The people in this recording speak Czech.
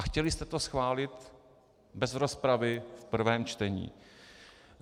A chtěli jste to schválit bez rozpravy v prvém čtení: